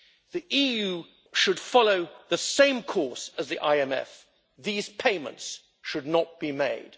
The EU should follow the same course as the IMF these payments should not be made.